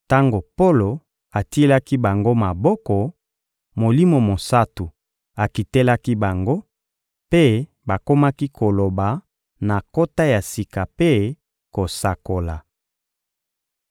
Tango Polo atielaki bango maboko, Molimo Mosantu akitelaki bango, mpe bakomaki koloba na nkota ya sika mpe kosakola.